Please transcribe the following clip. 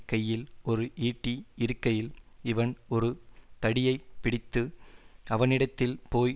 கையில் ஓரு ஈட்டி இருக்கையில் இவன் ஒரு தடியைப் பிடித்து அவனிடத்தில் போய்